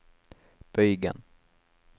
bøygen